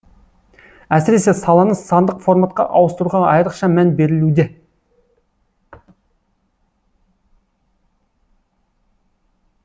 әсіресе саланы сандық форматқа ауыстыруға айрықша мән берілуде